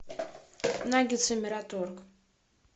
наггетсы мираторг